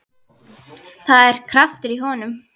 Það er kraftur í honum.